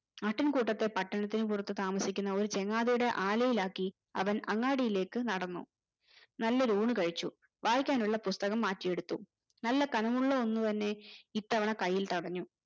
ആട്ടീൻ കൂട്ടത്തെ പട്ടണത്തിൽ പുറത്തു താമസിക്കുന്ന ഒരു ചങ്ങാതിടെ ആലയിലാക്കി അവൻ അങ്ങാടീലേക് നടന്നു നല്ലൊരു ഊണ് കഴിച്ചു വായിയ്ക്കാനുള്ള പുസ്തകം മാറ്റി എടുത്തു നല്ല ഘനമുള്ള ഒന്ന് തന്നെ